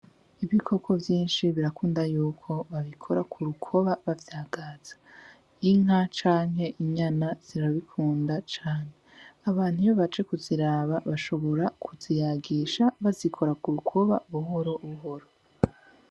Ibikoko vyinshi birakunda yuko babikora ku rukoba bavyagaza. Inka canke inyama zirabikunda cane. Abantu iyo baje kuziraba bashobora kuziyagisha bazikora ku rukoba buhoro buhoro.